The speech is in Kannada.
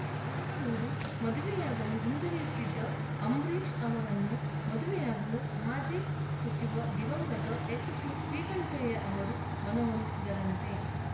ಬೆಂಗಳೂರು ಮದುವೆಯಾಗಲು ಹಿಂಜರಿಯುತ್ತಿದ್ದ ಅಂಬರೀಷ್‌ ಅವರನ್ನು ಮದುವೆಯಾಗಲು ಮಾಜಿ ಸಚಿವ ದಿವಂಗತ ಎಚ್‌ಸಿ ಶ್ರೀಕಂಠಯ್ಯ ಅವರು ಮನವೊಲಿಸಿದರಂತೆ